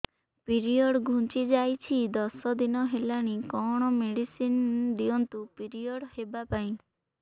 period ଘୁଞ୍ଚି ଯାଇଛି ଦଶ ଦିନ ହେଲାଣି କଅଣ ମେଡିସିନ ଦିଅନ୍ତୁ ପିରିଅଡ଼ ହଵା ପାଈଁ